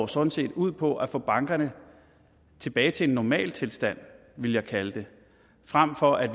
sådan set ud på at få bankerne tilbage til en normaltilstand ville jeg kalde det frem for at